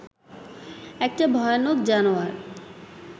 একটা ভয়ানক জানোয়ার